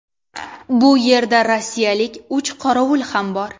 Bu yerda rossiyalik uch qorovul ham bor.